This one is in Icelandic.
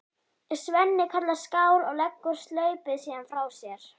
Svenni kallar skál og leggur staupið síðan frá sér.